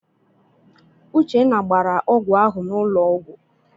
Uchenna gbara ọgwụ ahụ n'ụlọ ọgwụ.